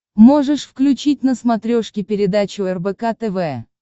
можешь включить на смотрешке передачу рбк тв